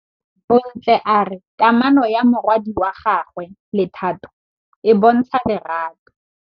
Bontle a re kamanô ya morwadi wa gagwe le Thato e bontsha lerato.